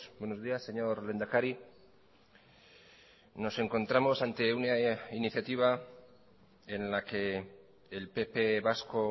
buenos días señor lehendakari nos encontramos ante una iniciativa en la que el pp vasco